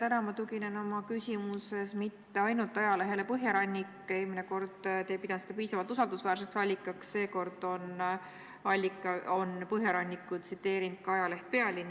Täna ei tugine ma oma küsimuses mitte ainult ajalehele Põhjarannik – eelmine kord ei pidanud te seda piisavalt usaldusväärseks allikaks –, vaid seekord on Põhjarannikut tsiteerinud ka ajaleht Pealinn.